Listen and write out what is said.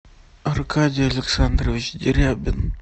аркадий александрович дерябин